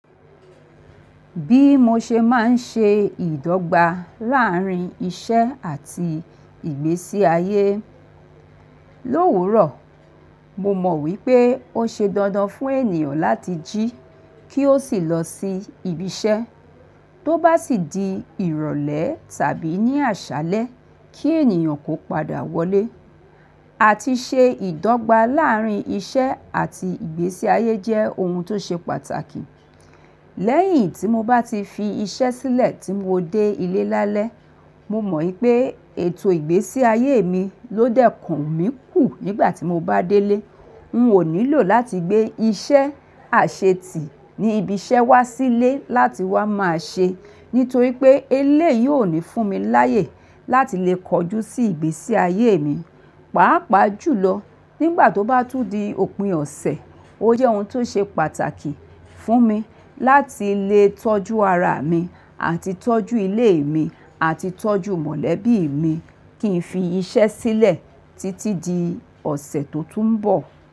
Bí mo ṣe máa ń ṣe ìdọ́gba láàárín iṣẹ́ àti ìgbésí ayé. Lòwúrọ̀, mo mọ̀ wípé ó ṣe dandan fún ènìyàn láti jí kí ó sì lọ sí ibi iṣẹ́, tó bá sì di ìrọ̀lẹ́ tàbí ní àṣálẹ́ kí ènìyàn kó padà wọlé. Àti ṣe ìdọ́gba láàárín iṣẹ́ àti ìgbésí ayé jẹ́ ohun tó ṣe pàtàkì. Lẹ́yìn tí mo bá ti fi iṣẹ́ sílẹ̀ tí mo dé ilé lálẹ́, mo mọ̀ wípé ètò ìgbésí ayé mi ló dẹ́ kùn mi kù nígbà tí mo bá délé. N ò nílò láti gbé iṣẹ́ àṣetí ní ibi iṣẹ́ wá sílé láti wá máa ṣe, nítorí pé eléyìó ò ní fún mi láyè láti lè kọjú sí ìgbésí ayé mi. Pàápàá jùlọ, nígbà tó bá tún di òpin ọ̀sẹ̀, ó jẹ́ ohun tó ṣe pàtàkì fún mi láti lè tọ́jú ara mi àti tọ́jú ilé mi àti tọ́jú mọ̀lẹ́bí mi kí n fi iṣẹ́ sílẹ̀ títí di ọ̀sẹ̀ tó tún ń bọ̀.